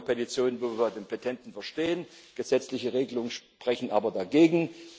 Oftmals haben wir Petitionen, wo wir den Petenten verstehen, gesetzliche Regelungen sprechen aber dagegen.